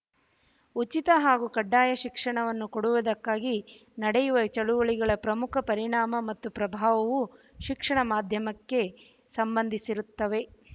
ಉಚಿತ ಹಾಗೂ ಕಡ್ಡಾಯ ಶಿಕ್ಷಣವನ್ನು ಕೊಡುವುದಕ್ಕಾಗಿ ನಡೆಯುವ ಚಳುವಳಿಗಳ ಪ್ರಮುಖ ಪರಿಣಾಮ ಮತ್ತು ಪ್ರಭಾವವು ಶಿಕ್ಷಣ ಮಾಧ್ಯಮಕ್ಕೆ ಸಂಬಂಧಿಸಿರುತ್ತವೆ